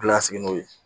Gilan sigi n'o ye